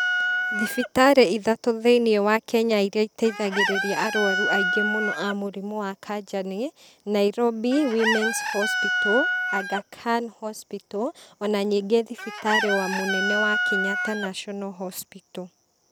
Thibitarĩ ithatũ thĩiniĩ wa Kenya iria iteithagĩrĩria arwaru aingĩ mũno a mũrimũ wa kanja nĩ, Nairobi Womens Hospital , Aghakan Hospital , ona ningĩ thibitarĩ wa mũnene wa Kenyatta National Hospital .